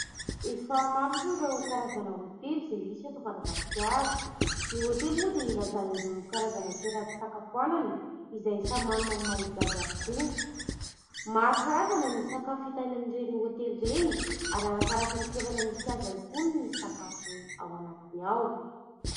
Efa maro moa ireo karazana hôtely izay misy eto Madagasikara. Ny hôtely moa dia ilazana ireo karazana toeram-pisakafoanana izay samy manana ny mahaizy azy avokoa. Maro karazana ny sakafo hita any amin'ireny hôtely ireny ary ararakaraky ny toerana misy azy ihany koa ny sakafo ao anatiny ao.